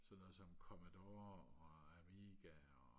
sådan noget som commodore og amiga og